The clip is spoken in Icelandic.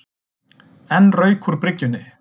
Enn rauk úr bryggjunni